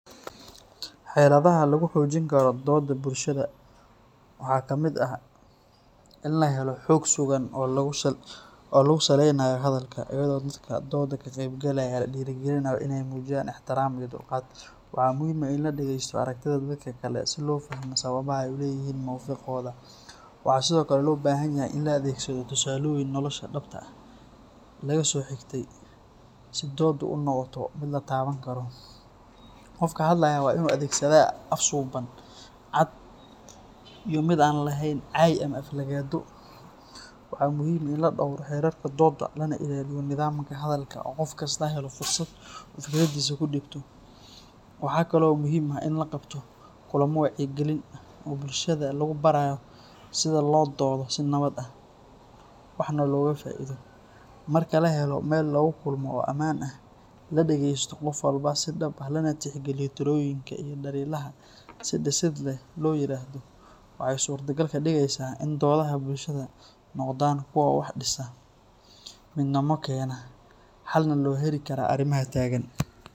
Xeladaha lagu xoojin karo doodaha bulshada waxaa ka mid ah in la helo xog sugan oo lagu salaynayo hadalka, iyadoo dadka doodda ka qaybgalaya la dhiirrigelinayo inay muujiyaan ixtiraam iyo dulqaad. Waxaa muhiim ah in la dhegaysto aragtida dadka kale si loo fahmo sababaha ay u leeyihiin mowqifkooda. Waxaa sidoo kale loo baahanyahay in la adeegsado tusaalooyin nolosha dhabta ah laga soo xigtay si dooddu u noqoto mid la taaban karo. Qofka hadlayaa waa inuu adeegsadaa af suuban, cad iyo mid aan lahayn cay ama aflagaado. Waxaa muhiim ah in la dhowro xeerarka doodda, lana ilaaliyo nidaamka hadalka oo qof kastaa helo fursad uu fikraddiisa ku dhiibto. Waxaa kale oo muhiim ah in la qabto kulammo wacyigelin ah oo bulshada lagu barayo sida loo doodo si nabad ah, waxna looga faa’iido. Marka la helo meel lagu kulmo oo ammaan ah, la dhageysto qof walba si dhab ah, lana tixgeliyo talooyinka iyo dhaliilaha si dhisid leh loo yiraahdo, waxay suuragal ka dhigeysaa in doodaha bulshada noqdaan kuwo wax dhisa, midnimo keena, xalna loo heli karo arrimaha taagan